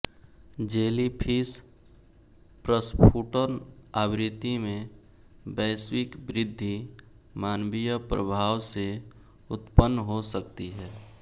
jellyfish प्रस्फुटन आवृत्ति में वैश्विक वृद्धि मानवीय प्रभाव से उत्पन्न हो सकती है